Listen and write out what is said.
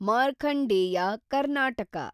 Markandeya, Karnataka